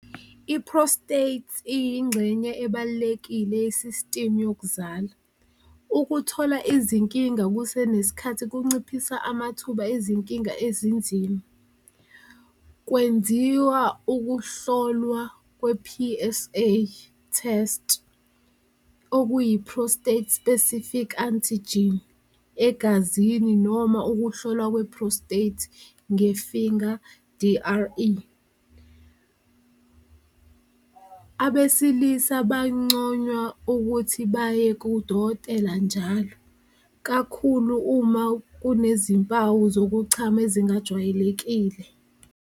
I-prostate iyingxenye ebalulekile yesisitimu yokuzala, ukuthola izinkinga kusenesikhathi kunciphisa amathuba izinkinga ezinzima. Kwenziwa ukuhlolwa kwe-P_S_A test okuyi-prostate specific antigen egazini, noma ukuhlolwa kwe-prostate nge-finger D_R_E, abesilisa banconywa ukuthi baye kudokotela njalo kakhulu uma kunezimpawu zokuchama ezingajwayelekile.